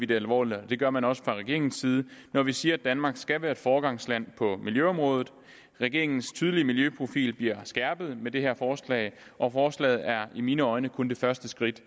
det alvorligt det gør man også fra regeringens side når vi siger at danmark skal være foregangsland på miljøområdet regeringens tydelige miljøprofil bliver skærpet med det her forslag og forslaget er i mine øjne kun det første skridt